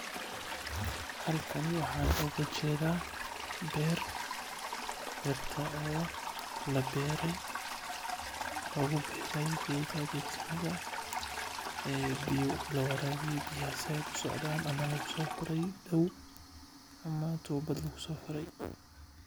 Halkan waxaan ooga jeeda beer beerta oo la beere lagu beere biyaha fican oo laga sheege meel sare.